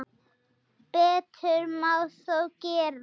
Betur má þó gera.